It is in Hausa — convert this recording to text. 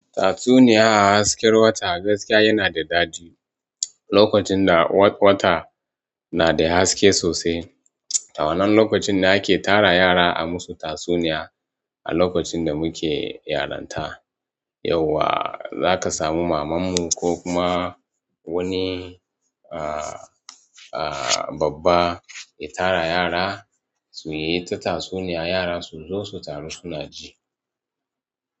Tatsuniya a hasken wata gaskiya yana da daɗi. Lokacin da wata na da haske sosai, to wannan lokacin ne ake tara yara a musu tatsuniya. A lokacin da muke yaranta, yauwa za ka samu mamanmu ko kuma wani, aa aa, babba ya tara yara su yi ta tatsuniya. Yara su zo su taru suna ji.